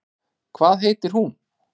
Hvað heitir hún?